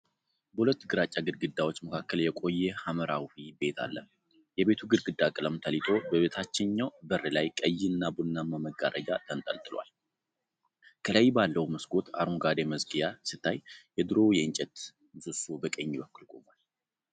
በሁለት ግራጫ ግድግዳዎች መካከል የቆየ ሐምራዊ ቤት አለ። የቤቱ ግድግዳ ቀለም ተልጦ፣ በታችኛው በር ላይ ቀይና ቡናማ መጋረጃ ተንጠልጥሏል። ከላይ ባለው መስኮት አረንጓዴ መዝጊያ ሲታይ፣ የድሮ የእንጨት ምሰሶ በቀኝ በኩል ቆሟል።